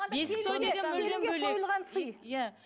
бесік той деген